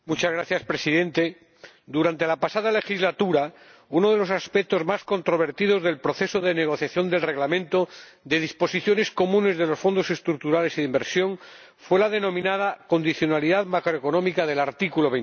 Señor Presidente, durante la pasada legislatura uno de los aspectos más controvertidos del proceso de negociación del Reglamento sobre disposiciones comunes de los Fondos Estructurales y de Inversión fue la denominada condicionalidad macroeconómica del artículo